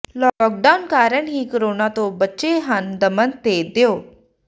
lockdown ਕਾਰਨ ਹੀ corona ਤੋਂ ਬਚੇ ਹਨ ਦਮਨ ਤੇ ਦਿਊ